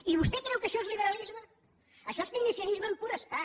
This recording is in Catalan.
i vostè creu que això és liberalisme això és keynesianisme en pur estat